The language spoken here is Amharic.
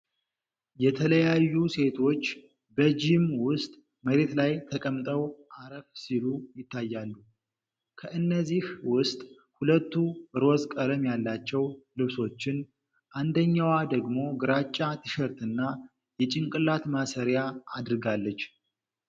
የተለያዩ ሴቶች በጂም ውስጥ መሬት ላይ ተቀምጠው አረፍ ሲሉ ይታያል። ከእነዚህ ውስጥ ሁለቱ ሮዝ ቀለም ያላቸው ልብሶችን፣ አንደኛዋ ደግሞ ግራጫ ቲሸርትና የጭንቅላት ማሰሪያ አድርጋለች።